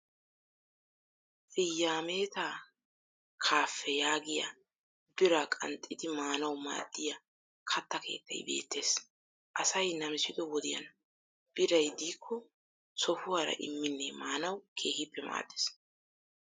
Fiyaameetaa kaaffee yagiya biraa qanxxidi maanawu maaddiya katta keettay beettes. Asay namsido wodiyan biray diikko sohuwara imminne maanawu keehippe maaddes.